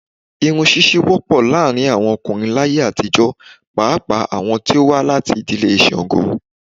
Irun ṣíṣe wọ́pọ̀ láàárín àwọn ọkùnrin láyé àtijó pàápàá àwọn to wá láti ìdílé ṣango.